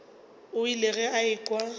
o ile ge a ekwa